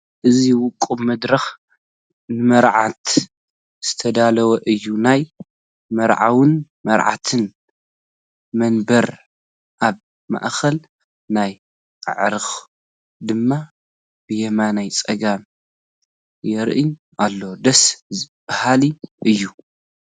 እዚ ውቁብ መድረኽ ንመርዑት ዝተዳለወ እዩ፡፡ ናይ መርዓውን መርዓትን መንበር ኣብ ማእኸል ናይ ዓዕሩኽ ድማ ብየማነ ፀጋም ይርአ ኣሎ፡፡ ደስ በሃሊ እዩ፡፡